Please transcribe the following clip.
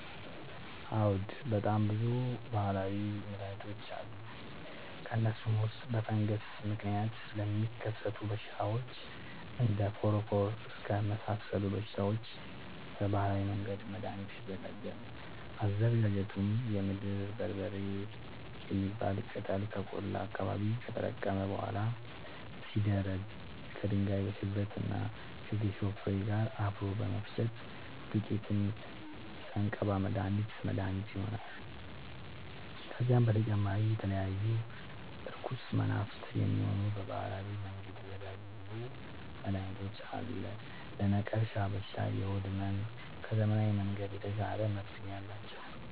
አዎድ በጣም ብዙ በሀላዊ መድሀኒቶች አሉ ከእነሱም ውስጥ በፈንገስ ምክንያት ለሚከሰቱ በሽታዎች እንደ ፎረፎር እከክ የመሳሰሉ በሽታዎች በባህላዊ መንገድ መድሀኒት ይዘጋጃል አዘገጃጀቱም የምድር በርበሬ የሚባል ቅጠል ከቆላ አካባቢ ከተለቀመ በኋላ ሲደርዳ ከድንጋይ ሽበት እና ከጌሾ ፋሬ ጋር አብሮ በመፈጨት ዱቄቱን ስንቀባ መድሀኒት መድሀኒት ይሆነናል። ከዚህም በተጨማሪ ለተለያዩ እርኩስ መናፍት፣ የሚሆን በባህላዊ መንገድ የተዘጋጀ ብዙ መድሀኒት አለ። ለነቀርሻ በሽታ ለሆድ ህመም ከዘመናዊ መንገድ የተሻለ መፍትሄ አላቸው።